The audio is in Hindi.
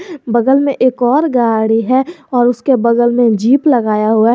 बगल में एक और गाड़ी है और उसके बगल में जीप लगाया हुआ --